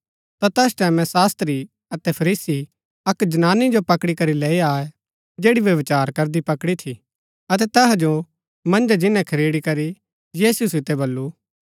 ता तैस टैमैं शास्त्री अतै फरीसी अक्क जनानी जो पकड़ी करी लेई आये जैड़ी व्यभिचार करदी पकड़ी थी अतै तैहा जो मन्जै जिन्‍नै खडेरी करी यीशु सितै वलु